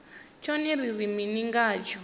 tshone ri ri mini ngatsho